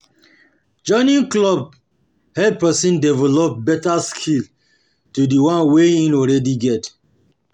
Joining clubs help person develop better skills to di one wey im already get